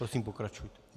Prosím, pokračujte.